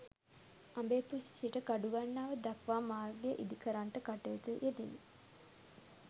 අඹේපුස්ස සිට කඩුගන්නාව දක්වා මාර්ගය ඉදි කරන්නට කටයුතු යෙදුණි